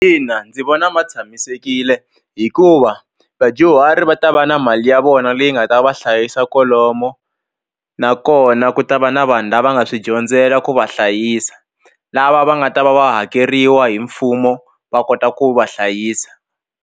Ina ni vona ma tshamisekile hikuva vadyuhari va ta va na mali ya vona leyi nga ta va hlayisa kolomo nakona ku ta va na vanhu lava nga swi dyondzela ku va hlayisa lava va nga ta va va hakeriwa hi mfumo va kota ku va hlayisa.